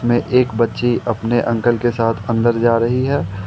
में एक बच्ची अपने अंकल के साथ अंदर जा रही है।